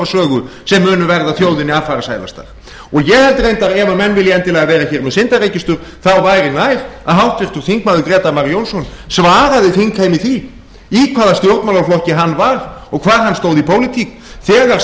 sögu sem munu verða þjóðinni affarasælastar og ég held reyndar ef menn vilja endilega vera hér með syndaregistur þá væri nær að háttvirtir þingmenn grétar mar jónsson svaraði þingheimi því í hvaða stjórnmálaflokki hann var og hvar hann stóð í pólitík þegar